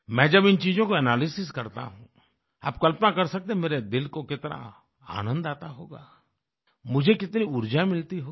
मैं जब इन चीजों को एनालिसिस करता हूँ आप कल्पना कर सकते हैं मेरे दिल को कितना आनंद आता होगा मुझे कितनी ऊर्जा मिलती होगी